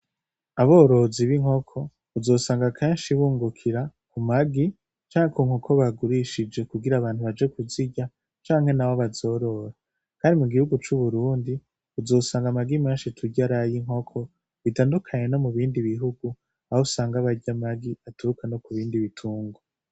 Aborozi b'inkoko uzosanga kenshi bungukira ku magi canke ku nkoko bagurishije kugira abantu baje kuzirya canke naho bazorore , kandi mu gihugu c'uburundi uzosanga amagi menshi turya aray'inkoko bitandukanye no mu bindi bihugu ahusanga bary'amagi aturuka ku bindi bitunrwa.